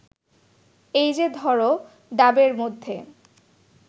এই যে ধর ডাবের মধ্যে